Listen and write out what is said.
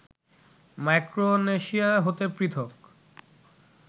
Micronesia হতে পৃথক